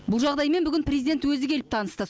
бұл жағдаймен бүгін президент өзі келіп танысты